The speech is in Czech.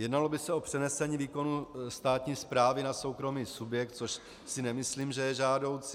Jednalo by se o přenesení výkonu státní správy na soukromý subjekt, což si nemyslím, že je žádoucí.